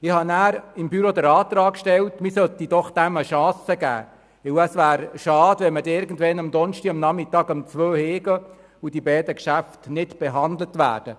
Ich habe dem Büro den Antrag gestellt, dass man diesen noch eine Chance geben sollte, weil es schade wäre, wenn man am letzten Donnerstagnachmittag um 14 Uhr nach Hause ginge und die beiden Geschäfte nicht mehr behandelt hätte.